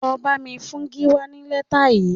Lọ bá mi fún Gíwá ní lẹ́tà yìí